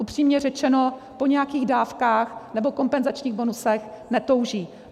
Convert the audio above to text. Upřímně řečeno, po nějakých dávkách nebo kompenzačních bonusech netouží.